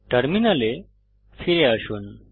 টার্মিনালে ফিরে আসুন